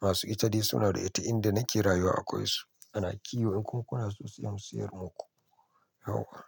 Masu ita de suna da ita, inda nake rayuwa akwai su. Ana kiwo ko kuna so siyan mu siyar muku. Yauwa.